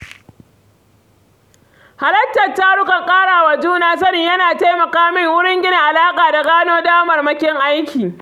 Halartar tarukan ƙara wa juna sani yana taimaka min wurin gina alaƙa da gano damarmakin aiki.